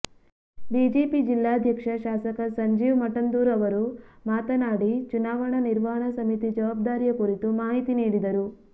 BJP ಜಿಲ್ಲಾಧ್ಯಕ್ಷ ಶಾಸಕ ಸಂಜೀವ ಮಠಂದೂರು ಅವರು ಮಾತನಾಡಿ ಚುನಾವಣಾ ನಿರ್ವಹಣಾ ಸಮಿತಿ ಜವಾಬ್ದಾರಿಯ ಕುರಿತು ಮಾಹಿತಿ ನೀಡಿದರು